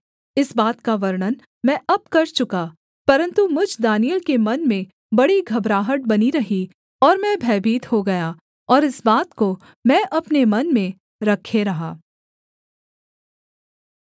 इस बात का वर्णन मैं अब कर चुका परन्तु मुझ दानिय्येल के मन में बड़ी घबराहट बनी रही और मैं भयभीत हो गया और इस बात को मैं अपने मन में रखे रहा